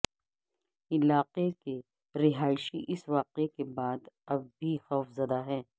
علاقے کے رہائشی اس واقعے کے بعد اب بھی خوفزدہ ہیں